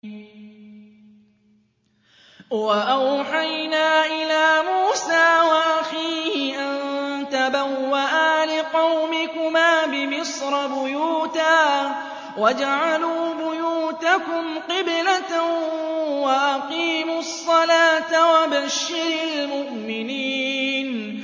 وَأَوْحَيْنَا إِلَىٰ مُوسَىٰ وَأَخِيهِ أَن تَبَوَّآ لِقَوْمِكُمَا بِمِصْرَ بُيُوتًا وَاجْعَلُوا بُيُوتَكُمْ قِبْلَةً وَأَقِيمُوا الصَّلَاةَ ۗ وَبَشِّرِ الْمُؤْمِنِينَ